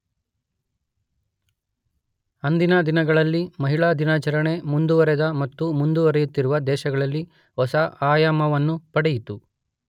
ಅಂದಿನ ದಿನಗಳಲ್ಲಿ ಮಹಿಳಾ ದಿನಾಚರಣೆ ಮುಂದುವರೆದ ಮತ್ತು ಮುಂದುವರೆಯುತ್ತಿರುವ ದೇಶಗಳಲ್ಲಿ ಹೊಸ ಆಯಮವನ್ನ ಪಡೆಯಿತು.